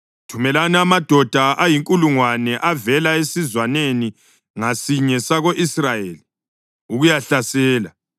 Thumelani amadoda ayinkulungwane avela esizwaneni ngasinye sako-Israyeli ukuyahlasela.”